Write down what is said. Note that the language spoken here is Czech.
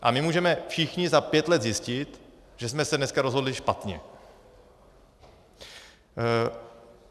A my můžeme všichni za pět let zjistit, že jsme se dneska rozhodli špatně.